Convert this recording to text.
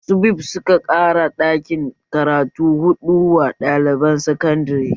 SUBEB suka ƙara ɗakin karatu huɗu wa ɗaliban sakandare